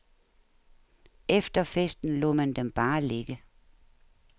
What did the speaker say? Efter festen lod man dem bare ligge.